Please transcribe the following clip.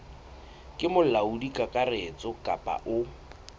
ke molaodi kakaretso kapa o